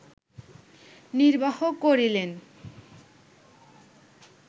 নির্বাহ করিলেন